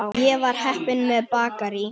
Ég var heppin með bakarí.